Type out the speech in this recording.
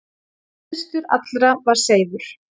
Æðstur allra var Seifur.